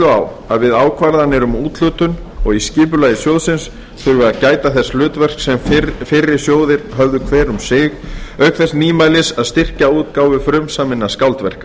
á að við ákvarðanir um úthlutun og í skipulagi sjóðsins þurfi að gæta þess hlutverks sem fyrri sjóðir höfðu hver um sig auk þess nýmælis að styrkja útgáfu frumsaminna skáldverka